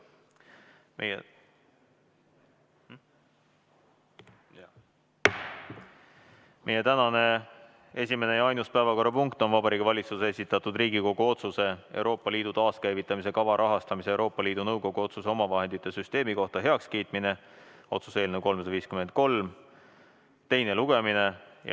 Meie tänane esimene ja ainus päevakorrapunkt on Vabariigi Valitsuse esitatud Riigikogu otsuse "Euroopa Liidu taaskäivitamise kava rahastamise ja Euroopa Liidu Nõukogu otsuse omavahendite süsteemi kohta heakskiitmine" otsuse eelnõu 353 teine lugemine.